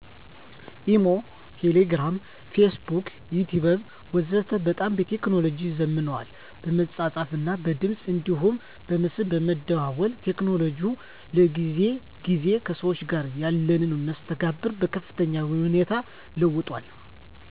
ኢሞ፣ ቴሌግርም ፌስቡክና ዩቲቢብ ወዘተ በጣም ቴክኖሎጅው ዘምኗል በመጻጻፍ እና በድምጽ አንዲሁም በምስል በመደዋወል ቴክኖሎጅው ከጊዜ ግዜ ከሰዎች ጋር ያለንን መስተጋብር በከፍተኛ ሁኔታ ለውጦታል።